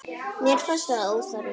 Mér fannst það óþarfi.